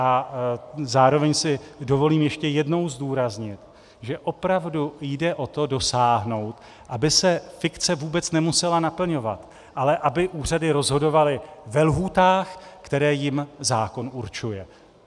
A zároveň si dovolím ještě jednou zdůraznit, že opravdu jde o to dosáhnout, aby se fikce vůbec nemusela naplňovat, ale aby úřady rozhodovaly ve lhůtách, které jim zákon určuje.